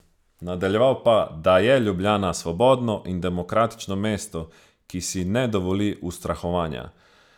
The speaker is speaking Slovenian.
Nadaljeval pa, da je Ljubljana svobodno in demokratično mesto, ki si ne dovoli ustrahovanja.